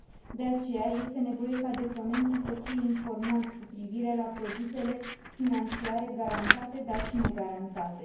De aceea, este nevoie ca deponenții să fie informați cu privire la produsele financiare garantate, dar și negarantate.